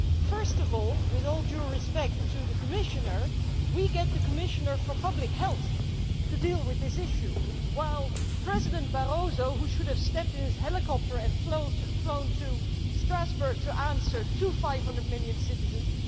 First of all, with all due respect to the Commissioner, we get the Commissioner for Public Health to deal with this issue, but no President Barroso, who should have got in his helicopter and flown to Strasbourg to answer to 500 million citizens.